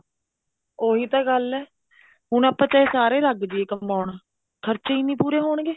ਉਹੀ ਤਾਂ ਗੱਲ ਹੈ ਹੁਣ ਆਪਾਂ ਚਾਹੇ ਸਾਰੇ ਲੱਗ ਜਾਈਏ ਕਮਾਉਣ ਖਰਚੇ ਹੀ ਨੀ ਪੂਰੇ ਹੋਣਗੇ